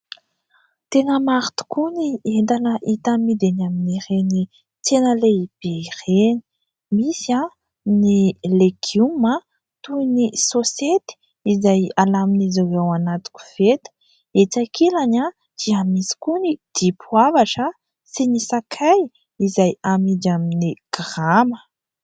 Tena maro tokoa ny entana hita amidy eny amin'ny ireny tsena lehibe ireny. Misy ny legioma toy ny sosety izay alamin'izy ireo ao anatin'ny koveta. Etsy ankilany dia misy koa ny dimpoavatra sy ny sakay izay amidy amin'ny grama.